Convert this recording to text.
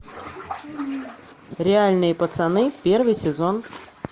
реальные пацаны первый сезон